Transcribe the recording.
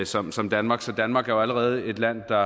som som danmark så danmark er jo allerede et land der